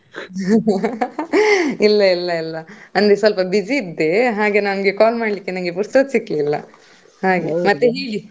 ಇಲ್ಲ ಇಲ್ಲ ಇಲ್ಲ ಅಂದ್ರೆ ಸ್ವಲ್ಪ busy ಇದ್ದೆ ಹಾಗೆ ನನ್ಗೆ call ಮಾಡ್ಲಿಕ್ಕೆ ಪುರ್ಸೊತ್ ಸಿಕ್ಲಿಲ್ಲ, ಹಾಗೆ ಮತ್ತೆ ಹೇಳಿ?